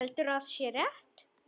Heldur að sé rétt.